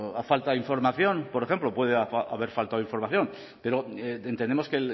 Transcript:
ha faltado información por ejemplo puede haber faltado información pero entendemos que